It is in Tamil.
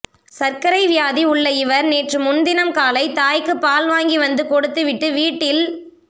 சர்க்கரை வியாதி உள்ள இவர் நேற்று முன்தினம் காலை தாய்க்கு பால் வாங்கி வந்து கொடுத்து விட்டு வீட்டில்